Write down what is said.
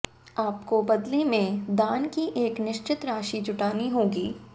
आपको बदले में दान की एक निश्चित राशि जुटानी होगी